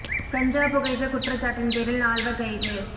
கஞ்சா புகைத்த குற்றச்சாட்டின் பேரில் நால்வர் கைது